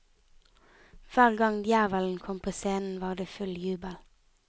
Hver gang djevelen kom på scenen var det full jubel.